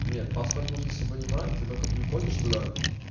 нет паспорт нужно с собой не брать ты только приходишь туда